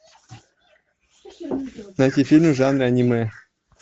найти фильм в жанре аниме